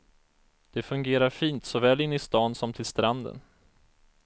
Det fungerar fint såväl inne i stan som till stranden.